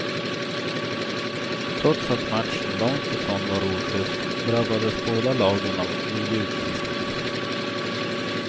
Trots att matchen långt ifrån var ojust drabbades båda lagen av nio utvisningar.